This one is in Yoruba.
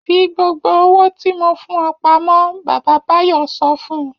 Fi gbogbo owó tí mo fún ọ pamọ́! Bàbá Báyọ̀ sọ fún un.